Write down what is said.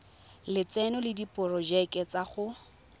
lotseno le diporojeke tsa go